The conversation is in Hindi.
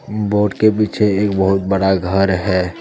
बोर्ड के पीछे एक बहुत बड़ा घर है।